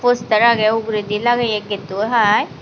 poster agey uguredi lageye getto hai.